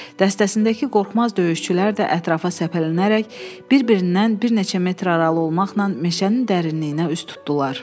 Dəstəsindəki qorxmaz döyüşçülər də ətrafa səpələnərək bir-birindən bir neçə metr aralı olmaqla meşənin dərinliyinə üz tutdular.